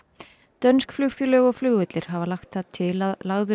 dönsk flugfélög og flugvellir hafa lagt það til að lagður